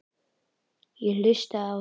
Ég hlustaði á þá.